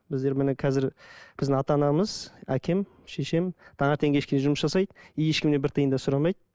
біздер міне қазір біздің ата анамыз әкем шешем таңертең кешке жұмыс жасайды и ешкімнен бір тиын да сұрамайды